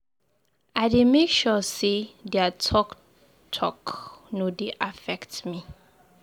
I dey make sure sey their talk talk no dey affect me.